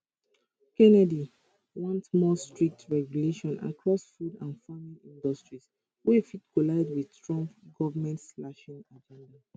kennedy want more strict regulation across food and farming industries wey fit collide wit trump govmentslashing agenda